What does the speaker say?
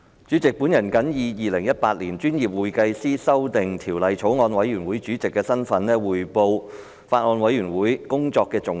主席，我謹以《2018年專業會計師條例草案》委員會主席的身份，匯報法案委員會工作的重點。